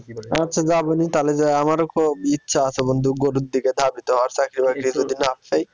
আচ্ছা যাবনি তালে যেয়ে আমারো খুব ইচ্ছা আছে বন্ধু গরুর দিকে, চাকরি বাকরি যদি না পাই।